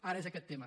ara és aquest tema